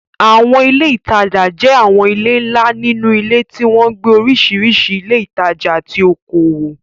Àwọn ilé ìtajà jẹ́ àwọn ilé ńlá nínú ilé tí wọ́n ń gbé oríṣiríṣi ilé ìtajà àti okòwò.